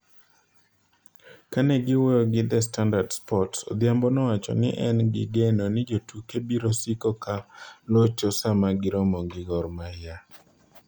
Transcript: Kane owuoyo gi The Standard Sports, Odhiambo nowacho ni en gi geno ni jotuke biro siko ka locho sama giromo gi Gor Mahia.